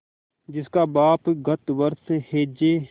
जिसका बाप गत वर्ष हैजे